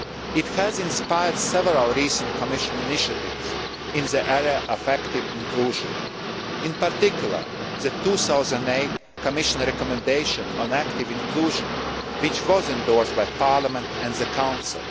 Union. It has inspired several recent Commission initiatives in the area of active inclusion, in particular, the 2008 Commission recommendation on active inclusion which was endorsed by Parliament and the